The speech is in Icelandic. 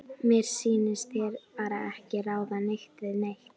Mér sýnist þeir bara ekki ráða neitt við neitt.